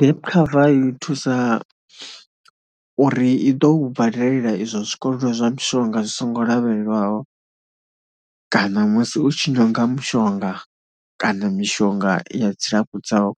Gap cover i thusa uri i ḓo badela izwo swikelelwa zwa mushonga zwi songo lavhelelwaho kana musi u tshi nyaga mushonga kana mishonga ya dzilafho dzau,